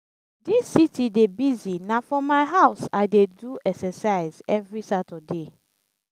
dis city dey busy na for my house i dey do exercise every saturday.